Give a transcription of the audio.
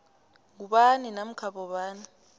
ngubani namkha bobani